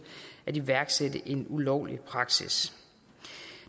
at iværksætte en ulovlig praksis